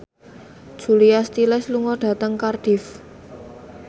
Julia Stiles lunga dhateng Cardiff